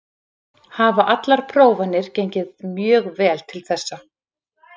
Hafa allar prófanir gengið mjög vel til þessa.